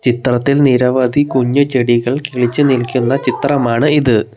ചിത്രത്തിൽ നിരവധി കുഞ്ഞു ചെടികൾ കിളിച്ചു നിൽക്കുന്ന ചിത്രമാണ് ഇത്.